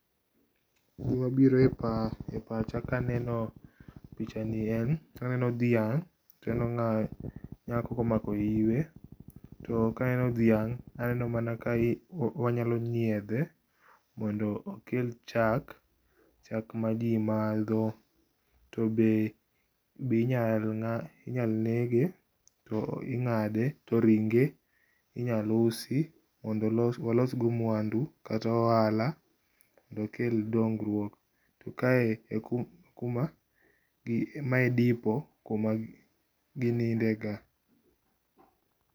Gima biro e pacha kaneno pichani en aneno dhiang, taneno nyako ma omako iwe. To kaneno dhiang aneno mana ka wanyalo nyiedhe mondo okel chak, chak ma jii madho. To be ,be inyal nege, to ingade, to ringe inyal usi mondo walos go mwandu kata ohala mondo okel dongruok. To kae ekuma, mae e dipo kuma gininde ga